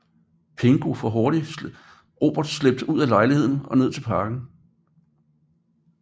Pongo får hurtigt Robert slæbt ud af lejligheden og ned til parken